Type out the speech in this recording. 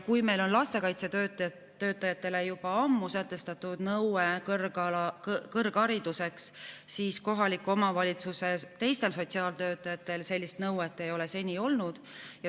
Kui meil on lastekaitsetöötajatele juba ammu sätestatud kõrghariduse nõue, siis kohaliku omavalitsuse teistel sotsiaaltöötajatel sellist nõuet ei ole seni olnud.